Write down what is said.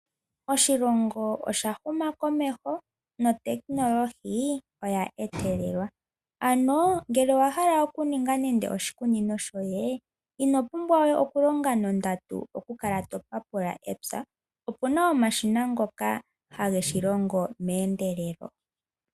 Oshilongo osha huma komeho notekinolohi oya etelelwa, ngele owa hala oku ninga nande oshikunino shoye ino pumbwa we ku longa nondandu oku kala to papula epya opuna omashina ngoka hage shilongo meendelelo.